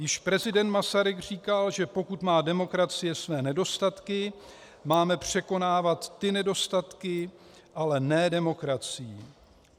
Již prezident Masaryk říkal, že pokud má demokracie své nedostatky, máme překonávat ty nedostatky, ale ne demokracii.